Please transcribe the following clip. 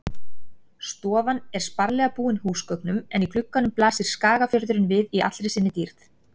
Stofan er sparlega búin húsgögnum en í gluggunum blasir Skagafjörðurinn við í allri sinni dýrð.